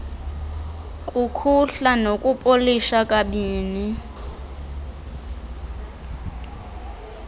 kukhuhla nokupolisha kabini